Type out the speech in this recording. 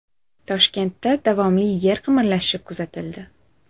Toshkentda davomli yer qimirlashi kuzatildi.